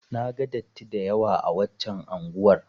Na ga datti da yawa a waccan unguwar.